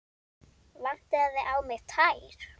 Vantaði á mig tær?